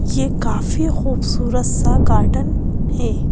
यह काफी खूबसूरत सागार्डन है।